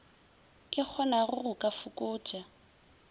e kgonago go ka fokotša